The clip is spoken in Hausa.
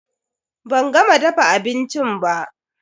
Ban gama dafa abincin ba.